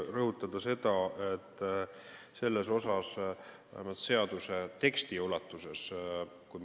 Väga tõsine ja õigustatud küsimus.